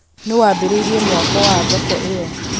nũũ waambĩrĩirie mwako wa thoko ĩyo